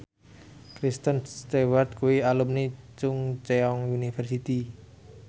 Kristen Stewart kuwi alumni Chungceong University